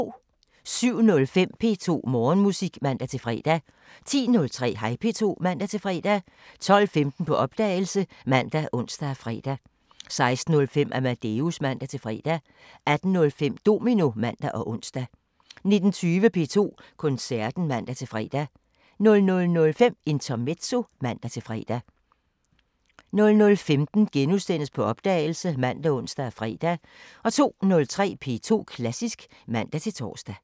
07:05: P2 Morgenmusik (man-fre) 10:03: Hej P2 (man-fre) 12:15: På opdagelse ( man, ons, fre) 16:05: Amadeus (man-fre) 18:05: Domino (man og ons) 19:20: P2 Koncerten (man-fre) 00:05: Intermezzo (man-fre) 00:15: På opdagelse *( man, ons, fre) 02:03: P2 Klassisk (man-tor)